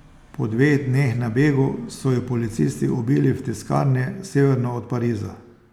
Po dveh dneh na begu so ju policisti ubili v tiskarni severno od Pariza.